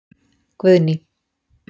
Guðný